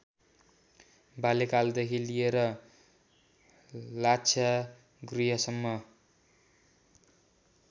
बाल्यकालदेखि लिएर लाक्षागृहसम्म